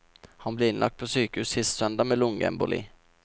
Han ble innlagt på sykehus sist søndag med lungeemboli.